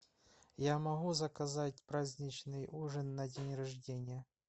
я могу заказать праздничный ужин на день рождения